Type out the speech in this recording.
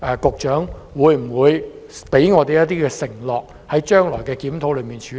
局長會否向我們承諾，在將來的檢討中予以處理？